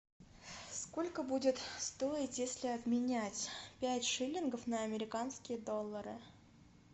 сколько будет стоить если обменять пять шиллингов на американские доллары